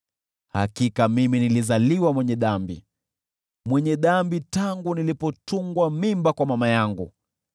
Hakika mimi nilizaliwa mwenye dhambi, mwenye dhambi tangu nilipotungwa mimba kwa mama yangu.